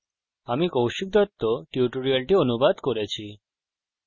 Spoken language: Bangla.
আমি কৌশিক দত্ত এই টিউটোরিয়ালটি অনুবাদ করেছি অংশগ্রহনের জন্য ধন্যবাদ